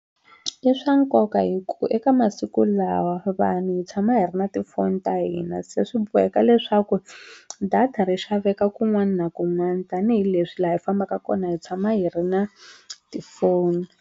I swa nkoka hikuva eka masiku lawa vanhu hi tshama hi ri na tifoni ta hina se swi boheka leswaku data ri xaveka kun'wana na kun'wana tanihileswi laha hi fambaka kona hi tshama hi ri na tifoni.